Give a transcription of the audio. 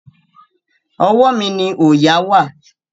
Ọwọ́ mi ni òòyà wà.